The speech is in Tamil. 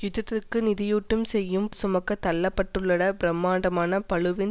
யுத்தத்துக்கு நிதியீட்டம் செய்யும் சுமக்கத் தள்ளப்பட்டுள்ளபிரமாண்டமான பளுவின்